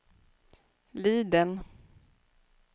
Liden